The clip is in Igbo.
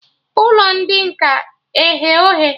Ụlọ ndị nkà eye oghe?